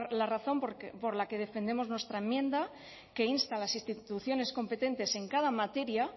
la razón por la que defendemos nuestra enmienda que insta a las instituciones competentes en cada materia